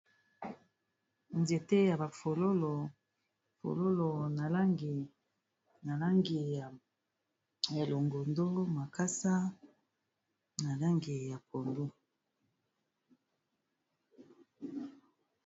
nzete ya bafololo na langi ya longondo makasa na langi ya pondu